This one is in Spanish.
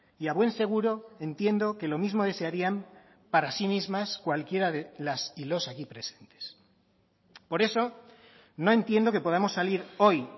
y a buen seguro entiendo que lo mismo desearían para sí mismas cualquiera de las y los aquí presentes por eso no entiendo que podamos salir hoy